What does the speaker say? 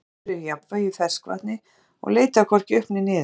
Slíkur hlutur er í jafnvægi í ferskvatni og leitar hvorki upp né niður.